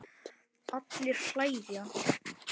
Allir hlæja.